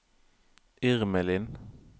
Irmelin